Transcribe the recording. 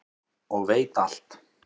og veit alt.